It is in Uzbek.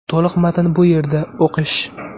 To‘liq matn bu yerda → o‘qish .